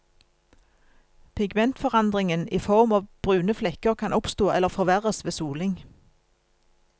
Pigmentforandringen i form av brune flekker kan oppstå eller forverres ved soling.